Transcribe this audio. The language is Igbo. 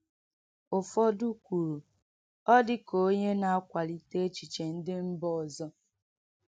Ụfọdụ kwuru, “Ọ̀ dị ka onye na-akwalite echiche ndị mba ọzọ.”